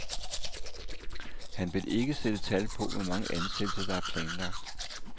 Han vil ikke sætte tal på, hvor mange ansættelser, der er planlagt.